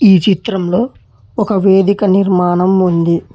ఈ చిత్రంలో ఒక వేదిక నిర్మాణం ఉంది.